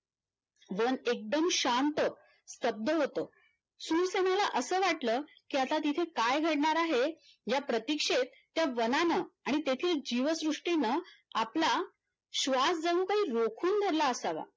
one एकदम शांत स्तब्ध होत शूरसेनला असं वाटलं की आता तिथे काय घडणार आहे या प्रतीक्षेत त्या वनांन आणि तेथील जीवसृष्टीन आपला श्वास जणू काही रोखून धरला असावा